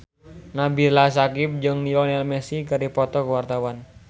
Nabila Syakieb jeung Lionel Messi keur dipoto ku wartawan